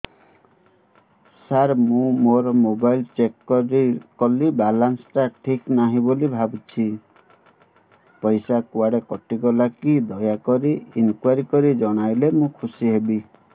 ସାର ମୁଁ ମୋର mobile check କଲି ବାଲାନ୍ସ ଟା ଠିକ ନାହିଁ ବୋଲି ଭାବୁଛି ପଇସା କୁଆଡେ କଟି ଗଲା କି ଦୟାକରି ଇନକ୍ୱାରି କରି ଜଣାଇଲେ ମୁଁ ଖୁସି ହେବି